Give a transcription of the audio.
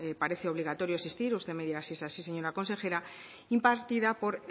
parece obligatorio asistir usted me dirá si es así señora consejera impartida por